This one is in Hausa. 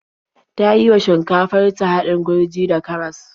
Ta yi wa shinkafar ta haɗin gurji da karas.